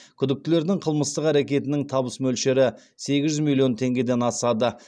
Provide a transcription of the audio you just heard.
күдіктілердің қылмыстық әрекетінің табыс мөлшері сегіз жүз миллион теңгеден асады